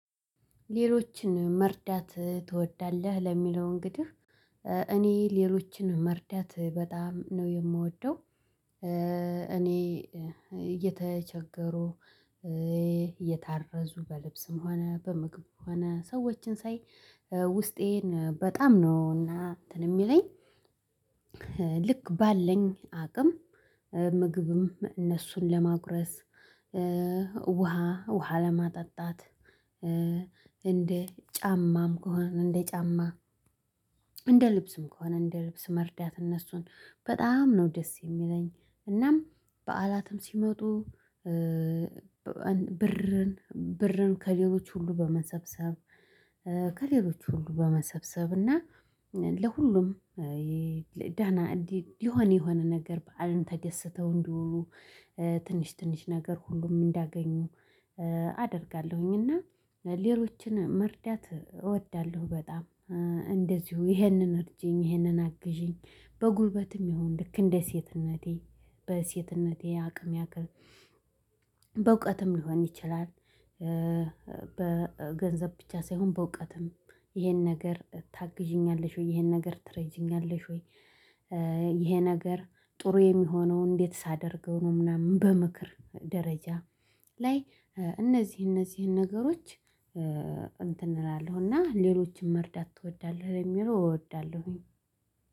ሌሎችን መርዳት ትወዳለህ? ለሚለው እንግዲህ እኔ ሌሎችን መርዳት በጣም ነው የምወደው። እኔ እየተቸገሩ የታረዙ በልብስም ሆነ በምግብ ሆነ ሰዎችን ሳይ ውስጤን በጣም ነው እና እንትን የሚለኝ። ልክ ባለኝ አቅም ምግብም እነሱን ለማጉረስ ውሃ ውሃ ለማጠጣት እንደ ጫማም ከሆነ እንደ ጫማ እንደ ልብስም ከሆነ እንደ ልብስ መርዳት እነሱን በጣም ነው ደስ የሚለኝ። እናም በዓላትም ሲመጡ ብር ከሌሎች ሁሉ በመሰብሰብ ከሌሎች ሁሉ በመሰብሰብ እና ለሁሉም ደና እንዲህ ሊሆን የሆነ ነገር በዓልን ተደስተው እንዲወሉ ትንሽ ትንሽ ነገር ሁሉም እንዲያገኙ አደርጋለሁኝ እና ሌሎችን መርዳት እወዳለሁ። በጣም እንደዚሁ ይሄንን እርጂኝ ይሄንን አግዢኝ በጉልበትም ይሁን ልክ እንደ ሴትነቴ በሴትነቴ አቅም ያክል በእውቀትም ሊሆን ይችላል በገንዘብ ብቻ ሳይሆን በእውቀትም ይሄን ነገር ታግዢኛለሽ ወይ ይሄን ነገር ትረጂኛለሽ ወይ? ይሄ ነገር ጥሩ የሚሆነው እንዴት ሳደርገው ነው። ምናምን በምክር ደረጃ ላይ እነዚህ እነዚህን ነገሮች እንትን እላለሁና ሌሎችን መርዳት ትወዳለህ የሚለው እወዳለሁኝ።